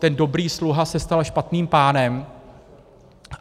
Ten dobrý sluha se stal špatným pánem.